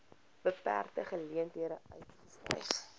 beperkte geleenthede uitgestyg